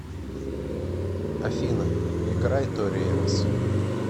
афина играй тори эмос